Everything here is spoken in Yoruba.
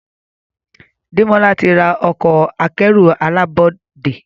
Demola tí rà Ọkọ̀ akẹ́rù alábọ́dé.